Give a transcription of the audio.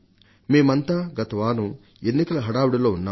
మేమంతా గత వారం ఎన్నికల హడావుడిలో ఉన్నాం